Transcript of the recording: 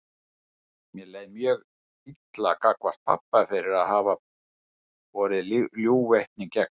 Mér leið mjög illa gagnvart pabba fyrir að hafa borið ljúgvitni gegn